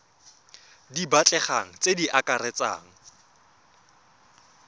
di batlegang tse di akaretsang